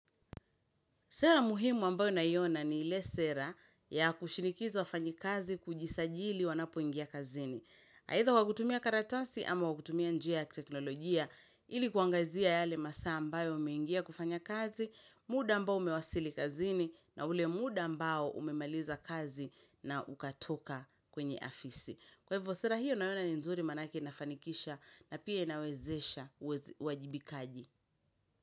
Sera muhimu ambayo naiona ni ile sera ya kushinikiza wafanyikazi kujisajili wanapoingia kazini. Either kwa kutumia karatasi ama kwa kutumia njia ya teknolojia ilikuangazia yale masaa ambayo umeingia kufanya kazi, muda ambao umewasili kazini na ule muda ambao umemaliza kazi na ukatoka kwenye ofisi. Kwa hivyo sera hiyo naiona ni nzuri maanake inafanikisha na pia inawezesha uwajibikaji.